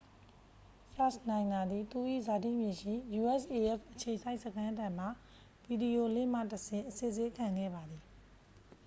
စာ့ချ်နိုင်တာ သည် သူ၏ဇာတိမြေရှိ usaf အခြေစိုက်စခန်းထံမှ ဗီဒီယိုလင့်ခ်မှတဆင့် အစစ်ဆေးခံခဲ့ပါသည်